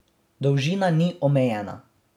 Dolžina ni omejena.